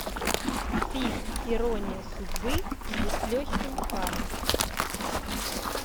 фильм ирония судьбы или с легким паром